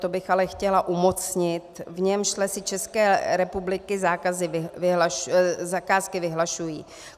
To bych ale chtěla umocnit - v němž Lesy České republiky zakázky vyhlašují.